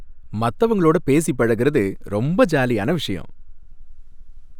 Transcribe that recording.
மத்தவங்களோட பேசி பழகுறது ரொம்ப ஜாலியான விஷயம்.